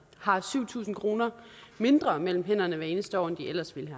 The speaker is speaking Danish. har syv tusind kroner mindre mellem hænderne hvert eneste år end de ellers ville